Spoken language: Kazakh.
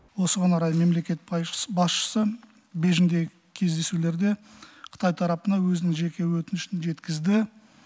осыған орай мемлекет басшысы бейжіңдегі кездесулерде қытай тарапына өзінің жеке өтінішін жеткізді